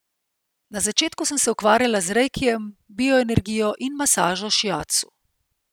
Na začetku sem se ukvarjala z reikijem, bioenergijo in masažo šiacu.